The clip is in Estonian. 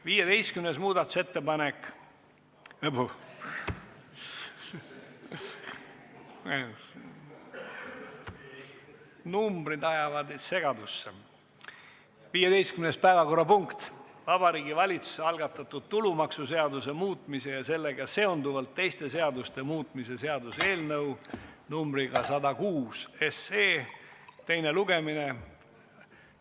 15. päevakorrapunkt on Vabariigi Valitsuse algatatud tulumaksuseaduse muutmise ja sellega seonduvalt teiste seaduste muutmise seaduse eelnõu 106 teine lugemine.